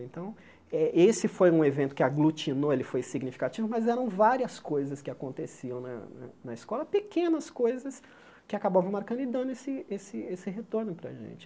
Então, eh esse foi um evento que aglutinou, ele foi significativo, mas eram várias coisas que aconteciam na na escola, pequenas coisas que acabavam marcando e dando esse esse esse retorno para gente.